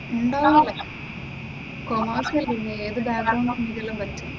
ഉണ്ടാകണം, കോമേഴ്‌സ് അല്ലേ നീ ഏതു ബാക്ക്ഗ്രൗണ്ട് ആണെങ്കിലും പറ്റും.